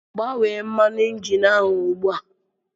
Gbanwee mmanụ injin ahụ ugbu a!